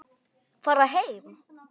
Fara heim?